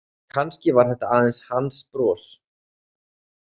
En kannski var þetta aðeins hans bros?